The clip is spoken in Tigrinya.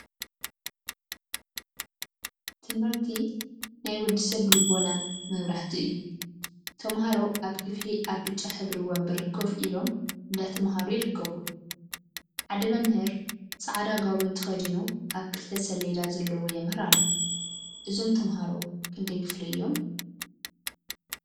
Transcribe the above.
ትምህርቲ ትምህርቲ ናይ ወድ ሰብ ልቦና መብራህቲ እዩ፡፡ ተምሃሮ አብ ክፈሊ አብ ብጫ ሕብሪ ወንበር ኮፍ ኢሎም እንዳተምሃሩ ይርከቡ፡፡ ሓደ መምህር ፃዕዳ ጋቦን ተከዲኑ አብ ክልተ ሰሌዳ ዘለዎ የምህር አሎ፡፡ እዞም ተምሃሮ ክንደይ ክፍሊ እዮም?